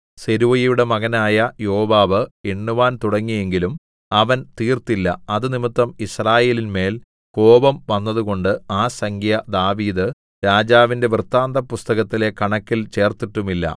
സെരൂയയുടെ മകനായ യോവാബ് എണ്ണുവാൻ തുടങ്ങിയെങ്കിലും അവൻ തീർത്തില്ല അത് നിമിത്തം യിസ്രായേലിന്മേൽ കോപം വന്നതുകൊണ്ട് ആ സംഖ്യ ദാവീദ്‌ രാജാവിന്റെ വൃത്താന്തപുസ്തകത്തിലെ കണക്കിൽ ചേർത്തിട്ടുമില്ല